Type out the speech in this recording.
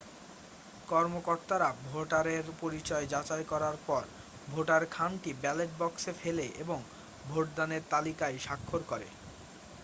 কর্মকর্তারা ভোটারের পরিচয় যাচাই করার পর ভোটার খামটি ব্যালট বাক্সে ফেলে এবং ভোটদানের তালিকায় স্বাক্ষর করে